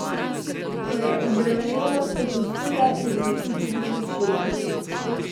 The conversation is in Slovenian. Ko je odrevenelost popustila, je začutil bolečine.